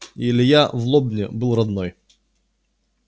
и илья в лобне был родной